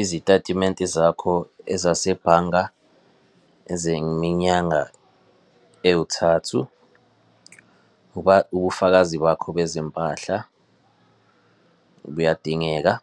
Izitatimenti zakho ezasebhanga, ezeminyanga ewuthathu. Ubufakazi bakho bezimpahla buyadingeka,